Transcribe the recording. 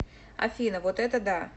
афина вот это да